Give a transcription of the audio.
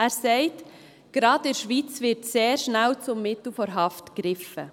Er sagt, gerade in der Schweiz werde sehr schnell zum Mittel der Haft gegriffen.